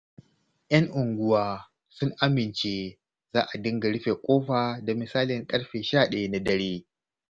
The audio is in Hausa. Yan unguwa sun amince za a dinga rufe ƙofa da misalin ƙarfe 11 na dare.